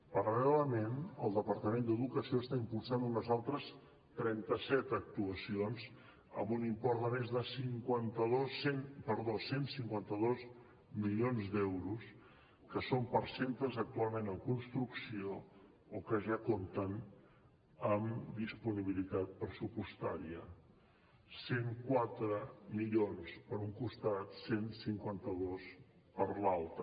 paral·lelament el departament d’educació està impulsant unes altres trenta set actuacions amb un import de més de cent i cinquanta dos milions d’euros que són per a centres actualment en construcció o que ja compten amb disponibilitat pressupostària cent i quatre milions per un costat cent i cinquanta dos per l’altre